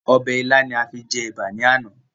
Ọbẹ̀ ilá ni a fi jẹ Ẹ̀bà ni àná.